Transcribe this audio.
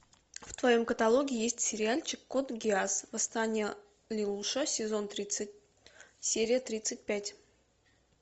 в твоем каталоге есть сериальчик код гиас восстание лелуша сезон тридцать серия тридцать пять